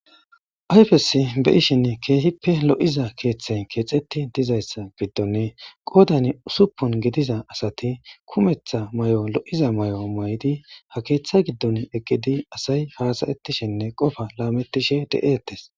Ayfesi be7ishin keehippe lo7iza keeththay keexetti dizayssa giddonne qoodani usuppon gidiza asati kumeththa may7o lo7iza may7o may7di; ha keeththa giddon eqgidi asay haasayetishenne qofa laamettishe de7ettes.